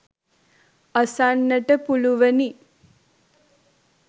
අසන්නට පුළුවනි.